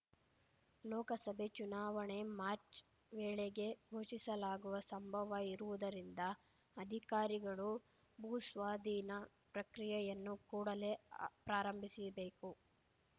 ಲೋಕಸಭೆ ಚುನಾವಣೆ ಮಾರ್ಚ್ ವೇಳೆಗೆ ಘೋಷಿಸಲಾಗುವ ಸಂಭವ ಇರುವುದರಿಂದ ಅಧಿಕಾರಿಗಳು ಭೂಸ್ವಾಧೀನ ಪ್ರಕ್ರಿಯೆಯನ್ನು ಕೂಡಲೆ ಪ್ರಾರಂಭಿಸಿಬೇಕು